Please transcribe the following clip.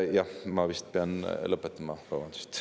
Jah, ma vist pean lõpetama, vabandust.